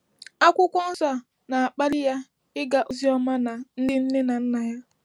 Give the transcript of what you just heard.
Akwụkwọ nsọ a na-akpali ya ịga ozi ọma na ndị nne na nna ya.